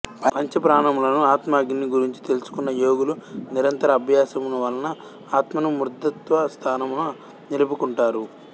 పంచప్రాణములను ఆత్మాగ్నిని గురించి తెలుసుకున్న యోగులు నిరంతర అభ్యాసము వలన ఆత్మను మూర్ధత్వ స్థానమున నిలుపుకుంటారు